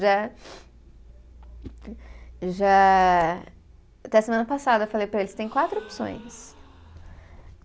Já, já. Até semana passada eu falei para ele, você tem quatro opções.